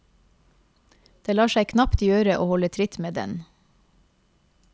Det lar seg knapt gjøre å holde tritt med den.